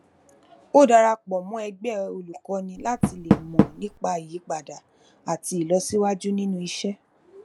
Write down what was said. ó dara pọ mọ ẹgbẹ olùkọni láti lè mọ nípa ìyípadà àti ìlọsíwájú nínú iṣẹ